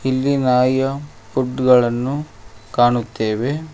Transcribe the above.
ಇಲ್ಲಿ ನಾಯಿಯ ಫುಡ್ ಗಳನ್ನು ಕಾಣುತ್ತೇವೆ.